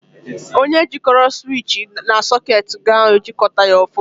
Onye jịkọrọ siwichi na sọketi gị ahụ e jịkọtaghị ya ọfụma.